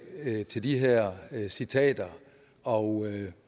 til de her citater og